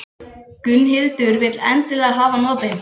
Gunnhildur vill endilega hafa hann opinn.